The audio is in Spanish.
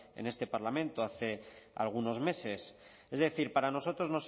en este parlamento hace algunos meses es decir para nosotros